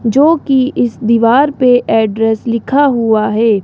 जोकि इस दीवार पर एड्रेस लिखा हुआ है।